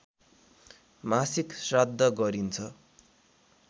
मासिक श्राद्ध गरिन्छ